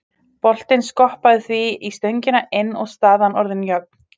Boltinn skoppaði því í stöngina inn og staðan orðin jöfn.